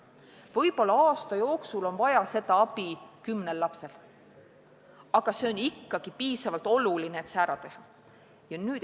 Võib-olla aasta jooksul on vaja seda abi kümnel lapsel, aga see on ikkagi piisavalt oluline muudatus, et see ära teha.